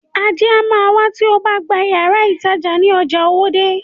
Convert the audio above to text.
Ajé a má wá tí obá gba yàrá ìtajà ní ojà Owódé.